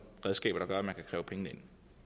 redskaber der gør at man kan kræve pengene